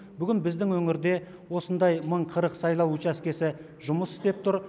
бүгін біздің өңірде осындай мың қырық сайлау учаскесі жұмыс істеп тұр